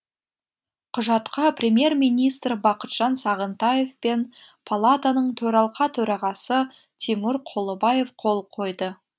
құжатқа премьер министр бақытжан сағынтаев пен палатаның төралқа төрағасы тимур құлыбаев қол қойды